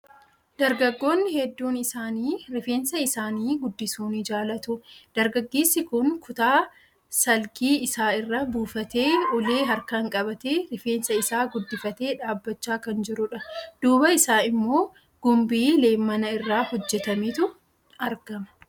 Dargaggoonni hedduun isaanii rifeensa isaanii guddisuu ni jaalatu. Dargaggeessi kun kutaa salgii isaa irra buufatee, ulee harkaan qabatee, rifeensa isaa guddifatee dhaabachaa kan jirudha. Duuba isaa immoo gumbii leemmana irraa hojjetametu argama.